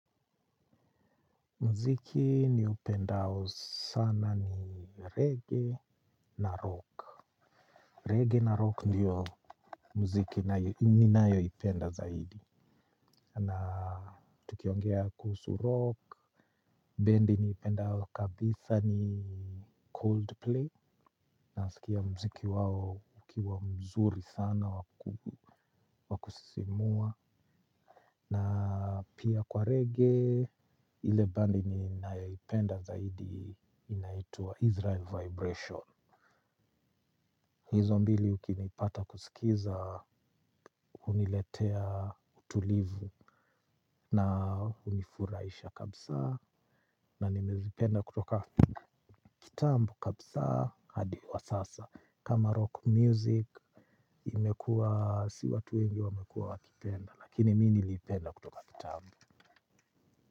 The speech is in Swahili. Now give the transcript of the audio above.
Mziki niupendao sana ni reggae na rock. Reggae na rock ndiyo mziki ninayo ipenda zaidi. Na tukiongea kuhusu rock. Bendy niipendao kabisa ni coldplay. Nawasikia mziki wao ukiwa mzuri sana wakusisimua. Na pia kwa reggae, ile bandi ninaoipenda zaidi inaitua Israel Vibration. Hizo mbili ukinipata kusikiza, uniletea utulivu na unifuraisha kabusa. Na nimezipenda kutoka kitambo kabusa hadi wa sasa. Kama rock music, imekua, si watu wengi wamekua wakipenda. Lakini mi nilipenda kutoka kitambo.